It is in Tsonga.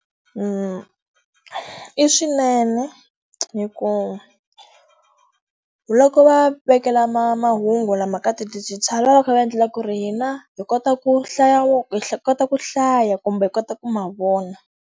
I swinene hikuva, loko va vekela mahungu lama ka ti-digital va va va kha va endlela ku ri hina hi kota ku hlaya hi kota ku hlaya kumbe hi kota ku ma vona.